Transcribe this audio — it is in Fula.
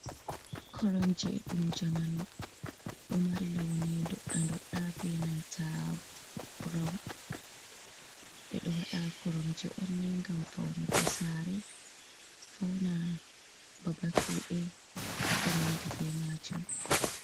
Koromje dum jamanu do mari launi dodda-dodda be nanta brawun. Bédo wada korom je onne gam faunago sare fauna babal kude yekonandi be majum.